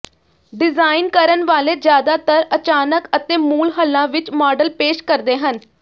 design ਕਰਨ ਵਾਲੇ ਜ਼ਿਆਦਾਤਰ ਅਚਾਨਕ ਅਤੇ ਮੂਲ ਹੱਲਾਂ ਵਿਚ ਮਾਡਲ ਪੇਸ਼ ਕਰਦੇ ਹਨ